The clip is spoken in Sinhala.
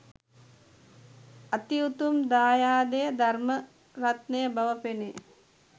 අති උතුම් දායාදය ධර්ම රත්නය බව පෙනේ